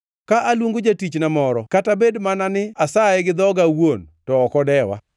Ka aluongo jatichna moro kata bed mana ni asaye gi dhoga awuon, to ok odewa.